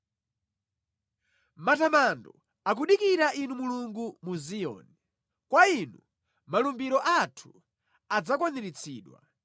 Matamando akudikira Inu Mulungu mu Ziyoni; kwa inu malumbiro athu adzakwaniritsidwa.